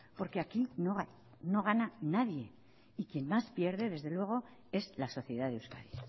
porque aquí no gana nadie y quien más pierde desde luego es la sociedad de euskadi y